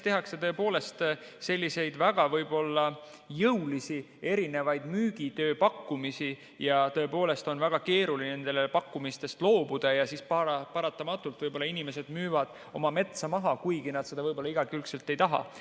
Tehakse tõepoolest selliseid väga jõulisi erinevaid müügipakkumisi ja on väga keeruline nendest pakkumistest loobuda ja paratamatult inimesed müüvad oma metsa maha, kuigi nad seda igakülgselt ei taha.